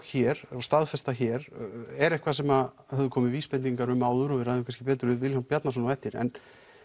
hér og staðfesta hér er eitthvað sem höfðu komið vísbendingar um áður og við ræðum kannski betur við Vilhjálm Bjarnason á eftir en